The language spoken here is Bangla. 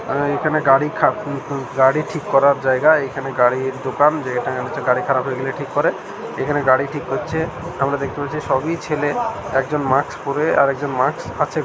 আআ এখানে গাড়ি খা গাড়ি ঠিক করার জায়গা এখানে গাড়ির দোকান যেখানে হচ্ছে গাড়ি খারাপ হয়ে গেলে ঠিক করে এখানে গাড়ি ঠিক করছে আমরা দেখতে পাচ্ছি সবই ছেলে একজন মাক্স পড়ে আর একজন মাক্স আছে--